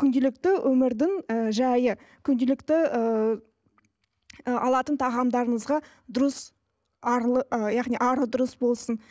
күнделікті өмірдің ы жайы күнделікті ы алатын тағамдарымызға дұрыс арлы ы яғни арлы дұрыс болсын